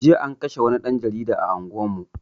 Jiya an kashe wani ɗan jarida a unguwar mu